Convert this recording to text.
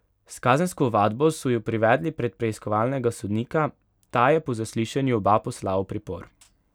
S kazensko ovadbo so ju privedli pred preiskovalnega sodnika, ta je po zaslišanju oba poslal v pripor.